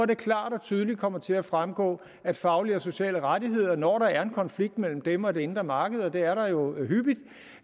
det klart og tydeligt kommer til at fremgå at faglige og sociale rettigheder når der er en konflikt mellem dem og det indre marked og det er der jo hyppigt